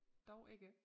Dog ikke